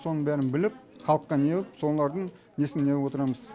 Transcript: соның бәрін біліп халыққа неғып солардың несін неғып отырамыз